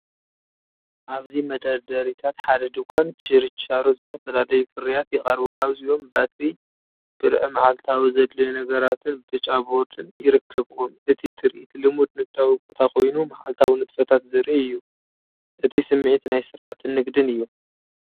ኣብዚ መደርደሪታት ሓደ ድኳን ችርቻሮ ዝተፈላለዩ ፍርያት ይቐርቡ። ካብዚኦም ባትሪ ብርዒመዓልታዊ ዘድልዩ ነገራትን ብጫ ቦርድን ይርከብዎም። እቲ ትርኢት ልሙድ ንግዳዊ ቦታ ኮይኑ መዓልታዊ ንጥፈታት ዘርኢ እዩ። እቲ ስሚዒት ናይ ስርዓትን ንግድን እዩ።